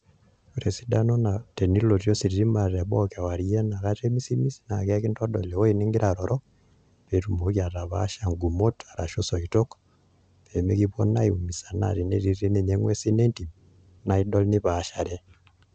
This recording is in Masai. Ore esidano ena tenilotie ositima te boo kewarie enakata emisimis naa enkindodol ewueji nigira aroro pee itumoki atapaasha igumot arashu isoitok peyie mekipoo na eimusaa naa tenetii ninye inguesi entim naidol nipaashare